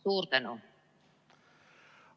Suur tänu!